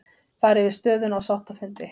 Fara yfir stöðuna á sáttafundi